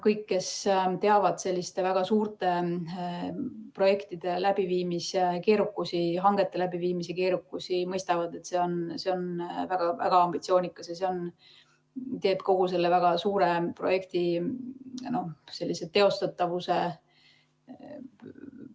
Kõik, kes teavad selliste väga suurte projektide hangete läbiviimise keerukusi, mõistavad, et see on väga ambitsioonikas ja teeb kogu selle väga suure projekti teostatavuse ...